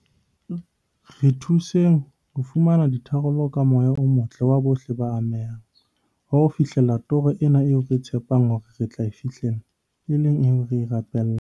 Re thuseng ho fumana ditharollo ka moya o motle wa bohle ba amehang, wa ho fihlella toro ena eo re tshepang hore re tla e fihlella, e leng eo re e rapellang.